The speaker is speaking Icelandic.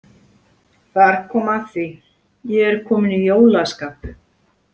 Þar kom að því Ég er kominn í jólaskap.